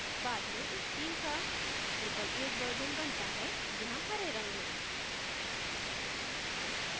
बाद में इस theme का drupal 8 version बनता है यहाँ हरे रंग में